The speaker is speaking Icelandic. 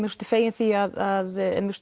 kosti fegin því að